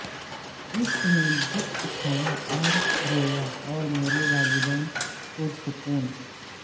اس نے دکھ اٹھایا اور رویا اور میرے والدین پرسکون